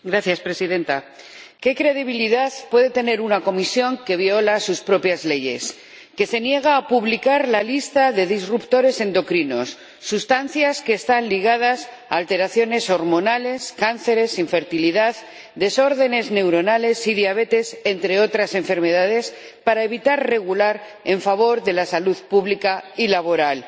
Señora Presidenta, ¿qué credibilidad puede tener una Comisión que viola sus propias leyes, que se niega a publicar la lista de alteradores endocrinos —sustancias que están ligadas a alteraciones hormonales, cánceres, infertilidad, desórdenes neuronales y diabetes, entre otras enfermedades— para evitar regular en favor de la salud pública y laboral?